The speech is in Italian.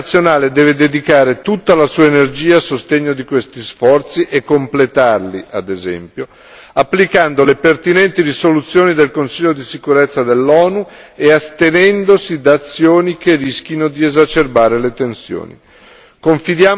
La comunità internazionale deve dedicare tutta la sua energia a sostegno di questi sforzi e completarli, ad esempio, applicando le pertinenti risoluzioni del Consiglio di sicurezza dell'ONU e astenendosi da azioni che rischino di esacerbare le tensioni.